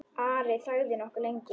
Ari þagði nokkuð lengi.